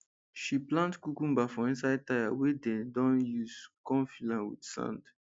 she plant cucumber for inside tyre wey dem don use con fill am with sand